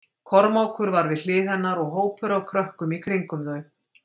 Kormákur var við hlið hennar og hópur af krökkum í kringum þau.